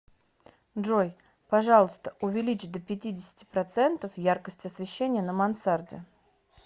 джой пожалуйста увеличь до пятидесяти процентов яркость освещения на мансарде